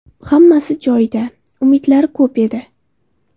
Hammasi joyida, umidlari ko‘p edi.